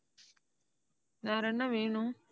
வேற என்ன வேணும்?